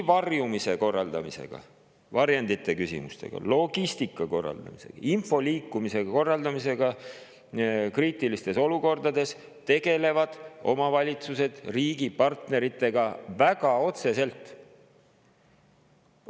Varjumise korraldamisega, varjendite küsimustega, logistika korraldamisega, info liikumise korraldamisega kriitilistes olukordades tegelevad omavalitsused riigi partneritena väga otseselt.